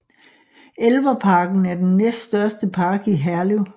Elverparken er den næststørste park i Herlev